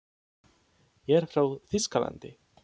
Ég er frá Þýskalandi.